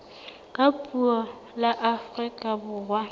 ka puo la afrika borwa